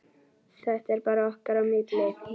Þetta er bara okkar á milli.